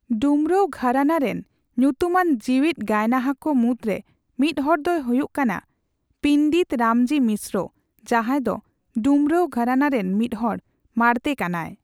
ᱰᱩᱢᱨᱟᱣ ᱜᱷᱟᱨᱟᱱᱟ ᱨᱮᱱ ᱧᱩᱛᱩᱢᱟᱱ ᱡᱤᱣᱮᱫ ᱜᱟᱭᱱᱟᱦᱟ ᱠᱚ ᱢᱩᱫ ᱨᱮ ᱢᱤᱫ ᱦᱚᱲᱫᱚᱭ ᱦᱩᱭᱩᱜ ᱠᱟᱱᱟ ᱯᱤᱱᱫᱤᱛ ᱨᱟᱢᱡᱤ ᱢᱤᱥᱨᱚ ᱡᱟᱸᱦᱟᱭ ᱫᱚ ᱰᱩᱢᱨᱟᱣ ᱜᱷᱚᱨᱟᱱᱟ ᱨᱮᱱ ᱢᱤᱫ ᱦᱚᱲ ᱢᱟᱲᱛᱮ ᱠᱟᱱᱟᱭ ᱾